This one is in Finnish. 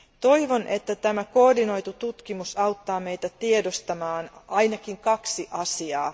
Toivon, että koordinoitu tutkimus auttaa meitä tiedostamaan ainakin kaksi asiaa.